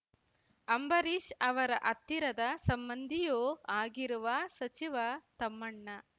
ಅಂಬರೀಷ್ ಅವರ ಹತ್ತಿರದ ಸಂಬಂಧಿಯೂ ಆಗಿರುವ ಸಚಿವ ತಮ್ಮಣ್ಣ